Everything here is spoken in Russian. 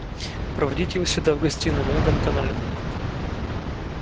проводите его сюда в гостиную на этом канале